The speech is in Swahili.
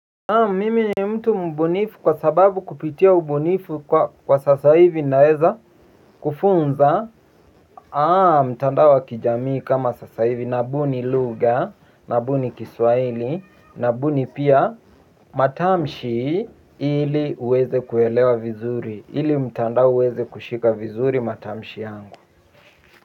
Mimi mtu mbunifu kwa sababu kupitia ubunifu kwa sasa hivi naeza kufunza mtandao wa kijamii kama sasa hivi na buni lugha na buni kiswahili na buni pia matamshi ili uweze kuelewa vizuri ili mtandao uweze kushika vizuri matamshi yangu.